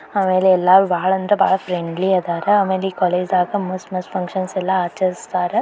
ಆಮೇಲೆ ಎಲ್ಲ ಬಹಳ ಅಂದ್ರೆ ಬಹಳ ಫ್ರೆಂಡ್ಲಿ ಅದಾರ ಆಮೇಲ ಈ ಕಾಲೇಜು ಡಾಗ್ ಮಸ್ತ್ ಮಸ್ತ್ ಫಂಕ್ಷನ್ ಆಚರಸ್ತಾರ್.